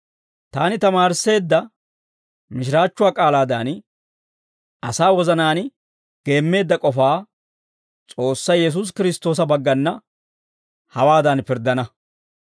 Taani tamaarisseedda mishiraachchuwaa k'aalaadan, asaa wozanaan geemmeedda k'ofaa S'oossay Yesuusi Kiristtoosa baggana hawaadan pirddana.